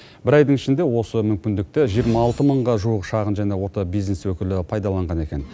бір айдың ішінде осы мүмкіндікті жиырма алты мыңға жуық шағын және орта бизнес өкілі пайдаланған екен